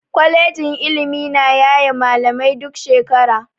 Kwalejin ilimi na yaye malamai duk shekara.